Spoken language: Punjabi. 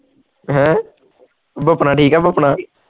ਹੈਂ ਭਾਪਣਾ ਠੀਕ ਆ ਭਾਪਣਾ